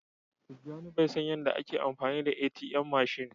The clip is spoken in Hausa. Tijani Bai san Yan da a ke amfani ATM mashin.